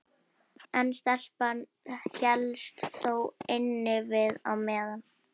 En stelpan hélst þó innivið á meðan.